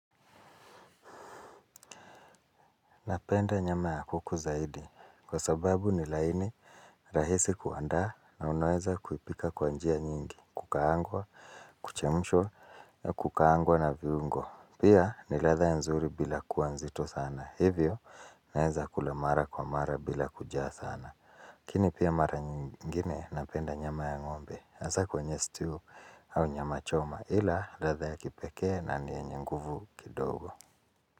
Napenda nyama ya kuku zaidi kwa sababu ni laini rahisi kuandaa na unaweza kuipika kwa njia nyingi kukaangwa kuchemshwa kukaangwa na viungo pia ni ladha nzuri bila kuwa nzito sana hivyo naweza kula mara kwa mara bila kujaa sana lakini pia mara nyingine napenda nyama ya ngombe hasa kwenye stew au nyama choma ila ladha ya kipekee na yenye nguvu kidogo.